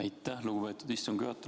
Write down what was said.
Aitäh, lugupeetud istungi juhataja!